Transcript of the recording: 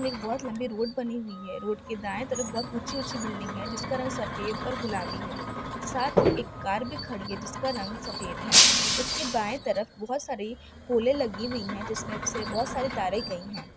एक बहोत लम्बी रोड बनी हुई है रोड के दाए तरफ बहोत ऊँची-ऊँची बिल्डिंग है जिसका रंग सफ़ेद और गुलाबी है साथ ही एक कार भी खड़ी है जिसका रंग सफ़ेद है उसके बाएं तरफ बहोत सारी पोलें लगी हुई है जिसमें से बहोत सारी तारें गई है।